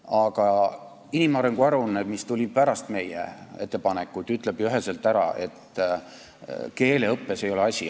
Aga inimarengu aruanne, mis tuli pärast meie ettepanekut, ütleb ju üheselt, et keeleõppes ei ole asi.